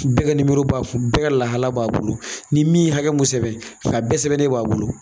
Bɛɛ kɛ nimoro b'a kun bɛɛ kɛ lahala b'a bolo ni min ye hakɛ mun sɛbɛ a bɛɛ sɛbɛnnen b'a bolo.